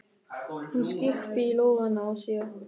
Hún skyrpir í lófana á sér.